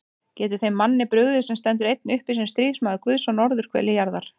Getur þeim manni brugðið, sem stendur einn uppi sem stríðsmaður Guðs á norðurhveli jarðar?